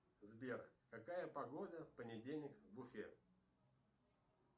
сбер какая погода в понедельник в уфе